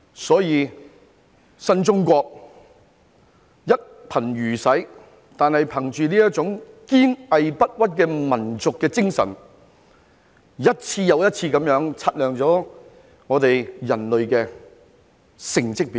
所以，新中國雖然一貧如洗，但憑着這種堅毅不屈的民族精神，一次又一次擦亮了我們人類的成績表。